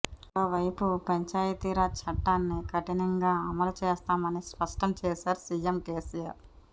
మరోవైపు పంచాయతీరాజ్ చట్టాన్ని కఠినంగా అమలు చేస్తామని స్పష్టం చేశారు సీఎం కేసీఆర్